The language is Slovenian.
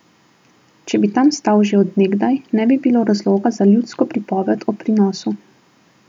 Če bi tam stal že od nekdaj, ne bi bilo razloga za ljudsko pripoved o prinosu.